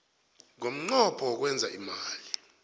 ngomnqopho wokwenza imali